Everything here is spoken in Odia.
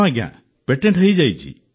ହଁ ଆଜ୍ଞା ପେଣ୍ଟେଟ ହୋଇଯାଇଛି